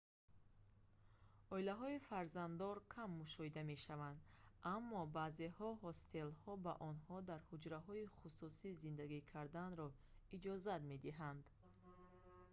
оилаҳои фарзанддор кам мушоҳида мешаванд аммо баъзе ҳостелҳо ба онҳо дар ҳуҷраҳои хусусӣ зиндагӣ карданро иҷозат медиҳанд